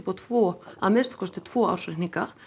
á tvo að minnsta kosti tvo ársreikninga